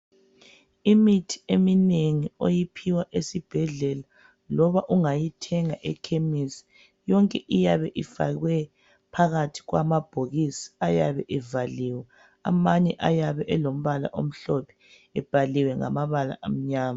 Imithi eminengi oyiphiwa esibhedlela loba ungayithenga eKhemisi. Yonke iyabe ifakwe phakathi kwamabhokisi ayabe evaliwe. Amanye ayabe elombala omhlophe ebhaliwe ngamabala amnyama.